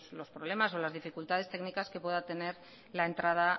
los problemas o las dificultades técnicas que pueda tener la entrada